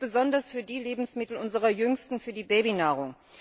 Das gilt besonders für die Lebensmittel unserer Jüngsten, für die Babynahrung.